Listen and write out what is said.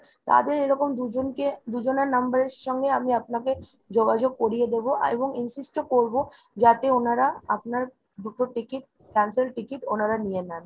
তাদের এরকম দুজনকে দুজনের number এর সঙ্গে আমি আপনাকে যোগাযোগ করিয়ে দেব এবং insist ও করবো যাতে ওনারা আপনার দুটো ticket cancel ticket ওনারা নিয়ে নেন।